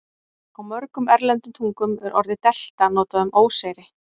Á mörgum erlendum tungum er orðið delta notað um óseyri.